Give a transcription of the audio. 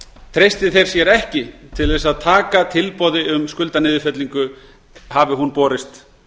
treysti þeir sér ekki til að taka tilboði um skuldaniðurfellingu hafi hún borist